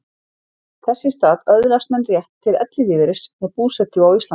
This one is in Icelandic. Þess í stað öðlast menn rétt til ellilífeyris með búsetu á Íslandi.